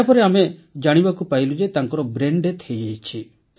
ଏହାପରେ ଆମେ ଜାଣିବାକୁ ପାଇଲୁ ଯେ ତାଙ୍କର ବ୍ରେନ୍ ଡେଥ୍ ହୋଇଯାଇଛି